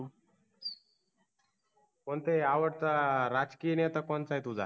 कोणताही आवडता राजकीय नेता कोणताय तुझा